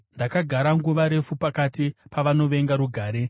Ndakagara nguva refu pakati pavanovenga rugare.